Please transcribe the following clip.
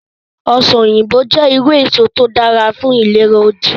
Ọsàn òyìnbó jẹ́ irú èso tí ó dára fún ìlera ojú